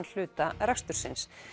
hluta rekstursins